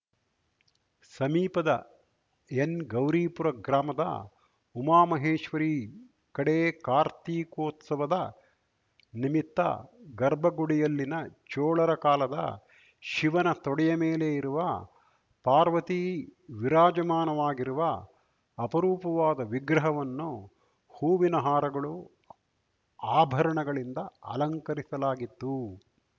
ಸಮೀಪದ ಎನ್‌ಗೌರೀಪುರ ಗ್ರಾಮದ ಉಮಾ ಮಹೇಶ್ವರೀ ಕಡೇ ಕಾರ್ತಿಕೋತ್ಸವದ ನಿಮಿತ್ತ ಗರ್ಭಗುಡಿಯಲ್ಲಿನ ಚೋಳರ ಕಾಲದ ಶಿವನ ತೊಡೆಯಮೇಲೆ ಇರುವ ಪಾರ್ವತಿ ವಿರಾಜಮಾನವಾಗಿರುವ ಅಪರೂಪವಾದ ವಿಗ್ರಹವನ್ನು ಹೂವಿನ ಹಾರಗಳು ಆಭರಣಗಳಿಂದ ಅಲಂಕರಿಸಲಾಗಿತ್ತು